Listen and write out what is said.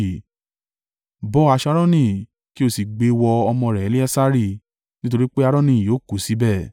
Bọ́ aṣọ Aaroni kí o sì gbe wọ ọmọ rẹ̀ Eleasari, nítorí pé Aaroni yóò kú síbẹ̀.”